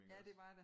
Ja det var der